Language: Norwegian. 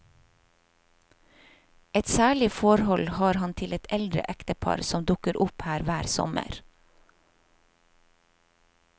Et særlig forhold har han til et eldre ektepar som dukker opp her hver sommer.